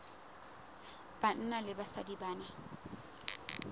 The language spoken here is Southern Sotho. banna le basadi ba na